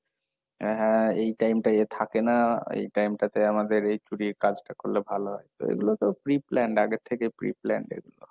হ্যাঁ এই time টাই এ থাকে না, এই time টাতে আমাদের এই চুরির কাজটা করলে ভালো হয়, তো এগুলো তো pre plan আগের থেকে pre plan এগুলো।